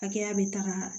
Hakɛya bɛ taga